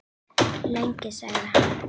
Lengi? sagði hann.